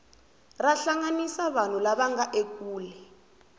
ra hlanganisa vanhu lava nga ekule